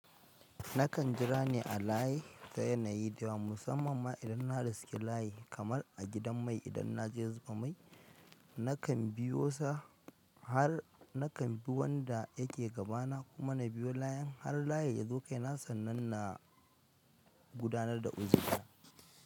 Nakan jira nai a layi ta yanayi da musamman ma idan na riske layi kamar a gidan mai idan na je zuba mai nakan bi wanda yake gaba na nakan bi layi har layi ya zo kaina sannan na gudanar da uzuri na.